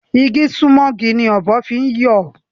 Igi sunmọ igi ni ọ̀bọ fi ń yọ